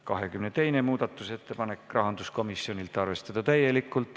22. muudatusettepanek, rahanduskomisjonilt, arvestada täielikult.